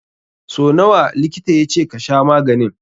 So nawa likita ya ce ka sha maganin?